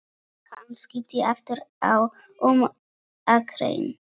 Hann skipti aftur um akrein.